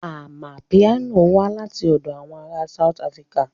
Amapiano wá láti ọ̀dọ̀ àwọn ará South Africa